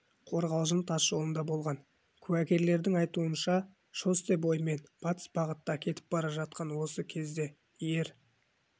қорғалжын тасжолында болған куәгерлердің айтуынша шоссе бойымен батыс бағытта кетіп бара жатқан осы кезде ер